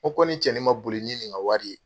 Ko kɔni ni cɛnin ma boli ni nin ka wari ye.